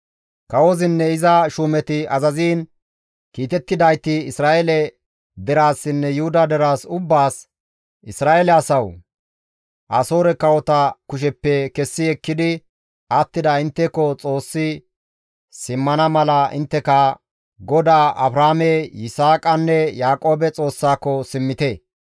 Kawozinne iza shuumeti azaziin kiitettidayti Isra7eele deraasinne Yuhuda deraas ubbaas, «Isra7eele asawu! Asoore kawota kusheppe kessi ekkidi attida intteko Xoossi simmana mala intteka, GODAA Abrahaame, Yisaaqanne Yaaqoobe Xoossaako simmite!